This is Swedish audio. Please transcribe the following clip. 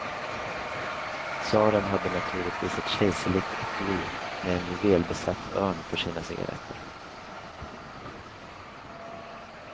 Tsaren hade naturligtvis ett kejserligt etui med en juvelbesatt örn för sina cigarretter.